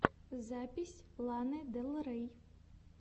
запись ланы дель рей